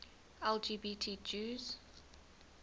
lgbt jews